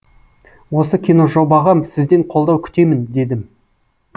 осы киножобаға сізден қолдау күтемін дедім